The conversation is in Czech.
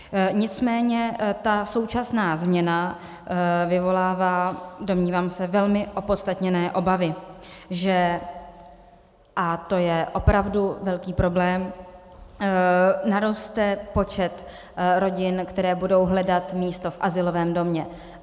Nicméně ta současná změna vyvolává, domnívám se, velmi opodstatněné obavy, že - a to je opravdu velký problém - naroste počet rodin, které budou hledat místo v azylovém domě.